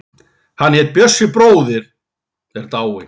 Hann Bjössi bróðir er dáinn.